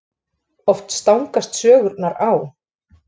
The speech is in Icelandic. Oft stangast sögurnar á.